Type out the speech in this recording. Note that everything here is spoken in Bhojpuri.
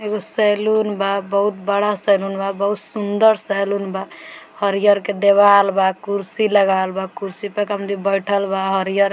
एगो सैलून बा बहुत बड़ा सलून बा बहुत सुन्दर सैलून बा हरियर के देवाल बा कुर्सी लगावल बा कुर्सी पे एक आदमी बइठल बा हरियर --